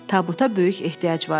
Tabuta böyük ehtiyac vardı.